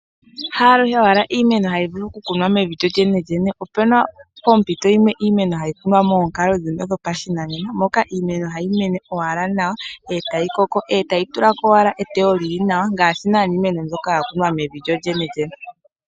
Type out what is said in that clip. Haaluhe owala iimeno tayi vulu okukunwa mevi lyolyenelyene, opuna poompito dhimwe iimeno hayi kunwa moonkalo dhopashinanena, moka iimeno hayi mene owala nawa etayi koko, etayi tulako owala etewo lili ngaashi ngaa iimeno mbyoka yakunwa mevi lyolyenelyene.